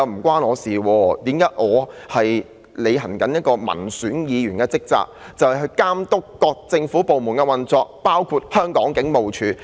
他只是在履行民選議員的職責，監督各政府部門的運作，包括香港警務處。